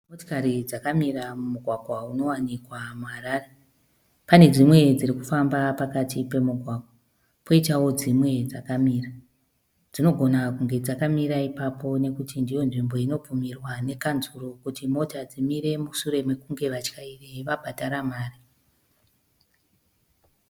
Motokari dzakamira mumugwagwa unowanikwa muHarare. Pane dzimwe dziri kufamba pakati pemugwagwa poitawo dzimwe dzakamira. Dzinogona kunge dzakamira ipapo nokuti ndiyo nzvimbo inobvumirwa nekanzuru kuti mota dzimire mushure mokunge vatyairi vabhadhara mari.